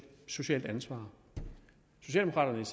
ansvar socialdemokraterne